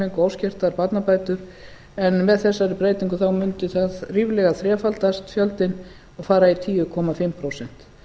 óskertar barnabætur en með þessari breytingu mundi þá ríflega þrefaldast fjöldinn og fara í tíu komma fimm prósent